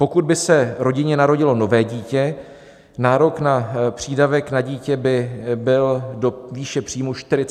Pokud by se rodině narodilo nové dítě, nárok na přídavek na dítě by byl do výše příjmu 48 507 korun.